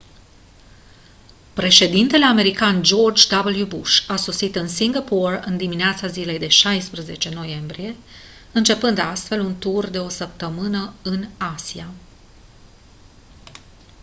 președintele american george w bush a sosit în singapore în dimineața zilei de 16 noiembrie începând astfel un tur de o săptămână în asia